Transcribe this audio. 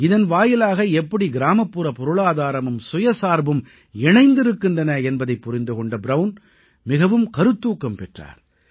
இதன் வாயிலாக எப்படி கிராமப்புற பொருளாதாரமும் சுயசார்பும் இணைந்ந்திருக்கின்றன என்பதைப் புரிந்து கொண்ட ப்ரவுன் மிகவும் கருத்தூக்கம் பெற்றார்